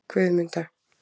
Guðmunda